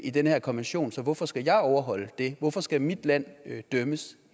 i den her konvention så hvorfor skal jeg overholde det hvorfor skal mit land dømmes